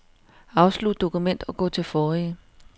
Afslut dokument og gå til forrige.